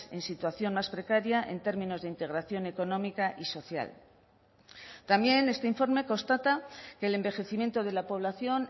en situación más precaria en términos de integración económica y social también este informe constata que el envejecimiento de la población